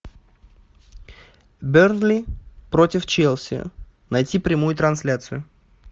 бернли против челси найти прямую трансляцию